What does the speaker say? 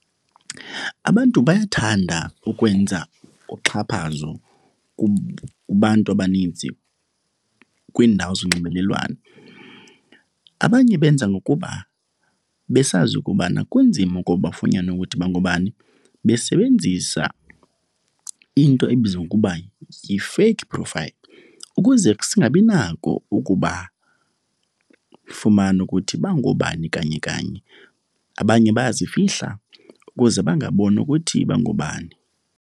Abantu bayathanda ukwenza uxhaphazo kubantu abaninzi kwiindawo zonxibelelwano. Abanye benza ngobana besazi ukubana kunzima ukuba bafunyanwe bangobani besebenzisa into ebizwa ngokuba yi-fake profile ukuze singabinako ukubafumana ukuthi bangobani kanye kanye. Abanye bayazifihla ukuze bangabonwa ukuthi bangoobani.